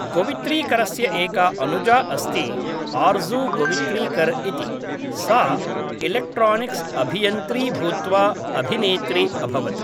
गोवित्रीकरस्य एका अनुजा अस्ति आर्ज़ू गोवित्रीकर् इति, सा इलेक्ट्रानिक्स् अभियन्त्री भूत्वा अभिनेत्री अभवत्